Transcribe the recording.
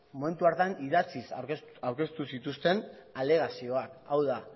momentu hartan idatziz aurkeztu zituzten alegazioak hau da